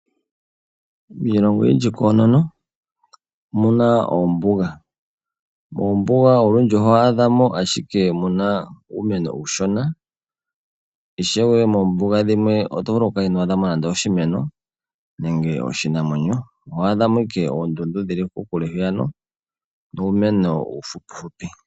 Miilongo oyindji koonono omuna ombuga moombuga olundji oho adhamo ashike muna uumeno uushona oshowo moombuga dhimwe oto vulu oku kala ino adha mo nande oshimeno nenge oshinamwenyo oho adha mo ashike oondundu dhili kokule oshwo uumeno uufupi fupi.